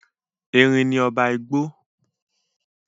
Erin ni ọba igbó.